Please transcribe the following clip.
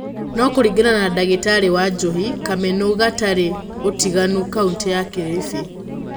No kũringana na dagĩtarĩ Wanjũhi Kamenũgũtariĩ ũtiganu kauntĩ ya Kiribi.